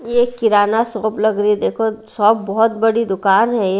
यह किराना शॉप लग रही है देखो शॉप बहुत बड़ी दुकान है।